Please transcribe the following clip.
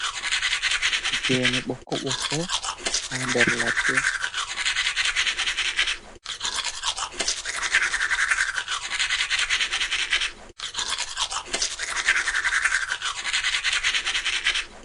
Gene bokko bokko haa der ladde.